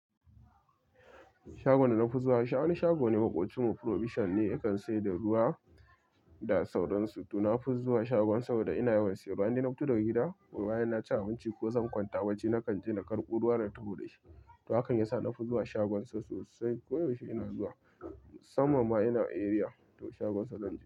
Shagon da na fi zuwa, wani shago ne makwabcinmu probition ne yakan sayar da ruwa da sauransu. To na fi zuwa shagon saboda ina yawan siyan ruwa inde na fito daga gida, bayan na ci abinci ko zan kwanta bacci. Nakan je na karɓo ruwa na taho da shi. To hakan yasa na fi zuwa shagon sa sosai. Ko yaushe ina zuwa. Sammam ma ina a area to shagon sa zan je.